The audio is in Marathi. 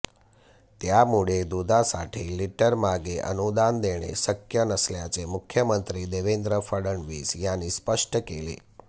त्यामुळे दुधासाठी लिटरमागे अनुदान देणे शक्य नसल्याचे मुख्यमंत्री देवेंद्र फडणवीस यांनी स्पष्ट केले